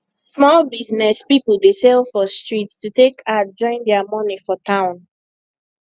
small business people dey sell for street to take add join their money for town